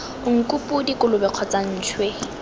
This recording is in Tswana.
nku podi kolobe kgotsa ntšhwe